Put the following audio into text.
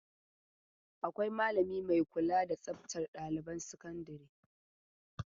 Akwai malami mai kula da tsaftan ɗailiban sakandare.